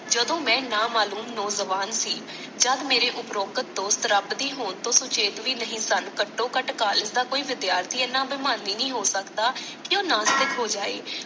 ਜਦੋਂ ਮੈਂ ਨਾਮਾਲੂਮ ਨੌਜਵਾਨ ਸੀ, ਜੱਦ ਮੇਰੇ ਉਪਰੋਕਤ ਦੋਸਤ ਰੱਬ ਦੀ ਹੋਂਦ ਤੋਂ ਸੁਚੇਤ ਵੀ ਨਹੀਂ ਸਨ ਘੱਟੋ ਘੱਟ ਕਾਲੇਜ ਦਾ ਕੋਈ ਵਿਦਿਆਰਥੀ ਇੰਨਾ ਅਭਿਮਾਨੀ ਨਹੀਂ ਹੋ ਸਕਦਾ ਕਿ ਉਹ ਨਾਸਤਿਕ ਹੋ ਜਾਵੇ